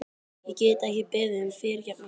Ég get ekki beðið um fyrirgefningu.